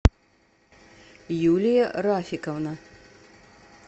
юлия рафиковна